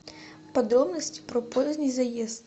подробности про поздний заезд